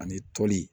Ani toli